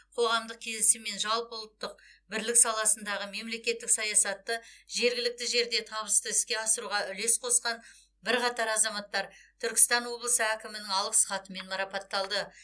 қоғамдық келісім мен жалпы ұлттық бірлік саласындағы мемлекеттік саясатты жергілікті жерде табысты іске асыруға үлес қосқан бірқатар азаматтар түркістан облысы әкімінің алғыс хатымен марапатталды